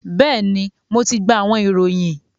bẹẹni, Mo ti gba awọn irohin